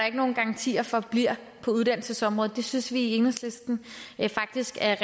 ikke nogen garanti for bliver på uddannelsesområdet det synes vi i enhedslisten faktisk er